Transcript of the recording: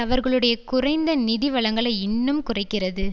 அவர்களுடைய குறைந்த நிதி வளங்களை இன்னும் குறைக்கிறது